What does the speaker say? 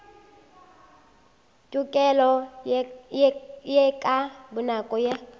tokelo ye ka bonako ya